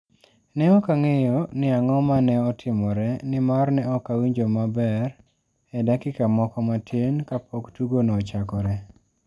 Ne ok ang'eyo ni ang'o ma ne otimore, nimar ne ok awinjo maber e dakika moko matin kapok tugono ochakore.